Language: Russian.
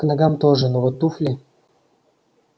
к ногам тоже но вот туфли